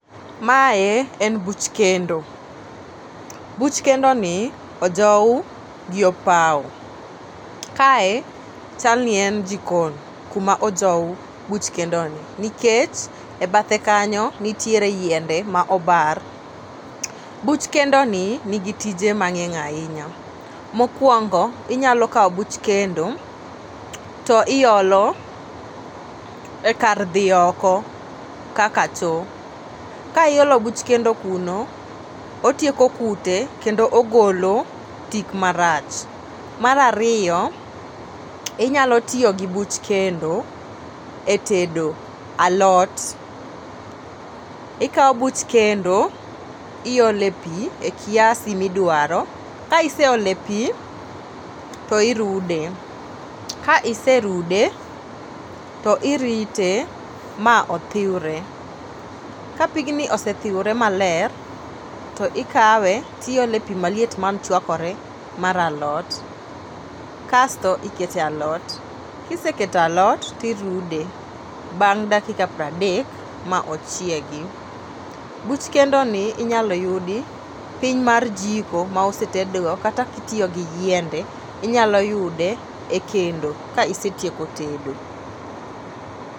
Mae en buch kendo, buch kendo ni ojow gi opawo. Kae chal ni en jikon kuma ojow buch kendo ni nikech e bathe kanyo nitiere yiende ma obar. Buch kendo ni nigi tije mang'eny ahinya . Mokwongo inyalo kawo buch to iolo e kar dhi oko kaka choo. Ka iolo buch kendo kuno otieko kute kendo ogolo tik marach. Mar ariyo inyalo tiyo gi buch kendo e tedo alot: ikawo buch kendo iole pii e kiasi midwaro ka iseole pii to irude ka iserude to irite ma othiwre. Ka pigni osethiwre maler to ikawe tiole pii maliet man chawkore mar alot kasto ikete alot. Kisekete alot tirude bang' dakika pradek ma ochiegi. Buch kendo ni inyalo yudi piny mar jiko ma osetedgo kata kitiyo gi yiende inyalo yude e kendo ka isetieko tedo.